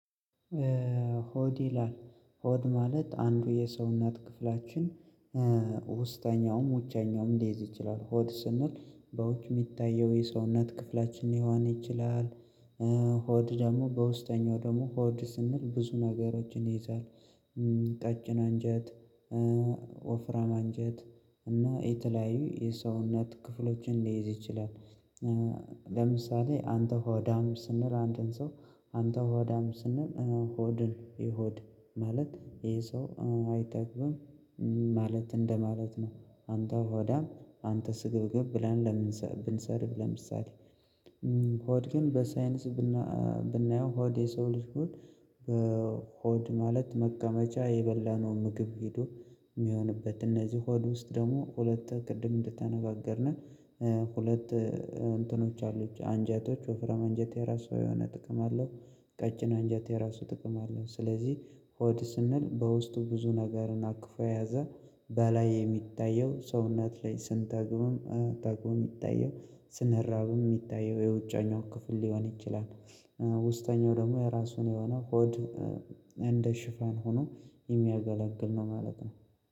ሆድ ይላል 'ሆድ' ማለት አንዱ የሰውነት ክፍላችን ውስጠኛውም ውጨኛውም ሊይዝ ይችላል። ሆድ ስንል በውጭ የሚታየው የሰውነት ክፍላችን ሊሆን ይችላል። ሆድ ደግሞ በውስጠኛው ደግሞ ሆድ ስንል ብዙ ነገሮችን ይይዛል። ቀጭን አንጀት፣ ወፍራም አንጀት እና የተለያዩ የሰውነት ክፍሎችን ሊይዝ ይችላል። ለምሳሌ አንተ ሆዳም ስንል አንድን ሰው አንተ ሆዳም ስንል ሆድን የሆድ ማለት ይሄ ሰው አይጠግብምም ማለት እንደማለት ነው። አንተ ሆዳም አንተ ስግብግብ ብለን እደምንሰድብ ብንሰድብ ለምሳሌ ሆድ ግን በሳይንስ ብናየው ሆድ የሰው ልጅ ሆድ ሆድ ማለት መቀመጫ የበላነውን ምግብ ሄዶ የሚሆንበት። እነዚህ ሆድ ውስጥ ደግሞ ሁለት ቅድም እንደተነጋገርን ሁለት እንትኖች አሉት። አንጀቶች ወፍራም አንጀት የራሱ የሆነ ጥቅም አለው። ቀጭን አንጀት የራሱ ጥቅም አለው። ስለዚህ ሆድ ስንል በውስጡ ብዙ ነገርን አቅፎ የያዘ በላይ የሚታየው ሰውነት ላይ ስንጠግብምም ጠግቦ የሚታየው ስንራብም የሚታየው የውጨኛው ክፍል ሊሆን ይችላል። ውስጠኛው ደግሞ የራሱ የሆነ ሆድ እንደ ሽፋን ሆኖ የሚያገለግል ነው ማለት ነው።